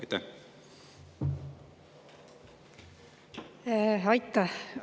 Aitäh!